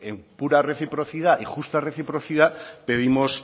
en pura reciprocidad y justa reciprocidad pedimos